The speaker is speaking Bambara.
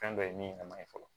Fɛn dɔ ye min yɛrɛ ma ɲi fɔlɔ